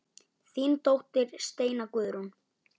Þín dóttir Steina Guðrún.